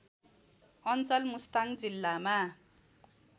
अञ्चल मुस्ताङ जिल्लामा